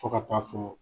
Fo ka taa fɔ